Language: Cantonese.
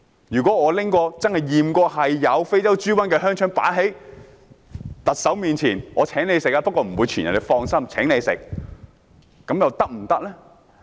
如果我真的把被驗出有非洲豬瘟的香腸放在特首面前，我請她食用，說不會傳染，請放心，是否可以呢？